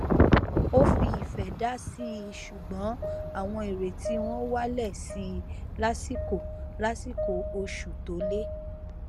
ó fi ìfẹ dásí i ṣugbọn àwọn ìrètí wọn wálẹ sí i lásìkò lásìkò oṣù tó le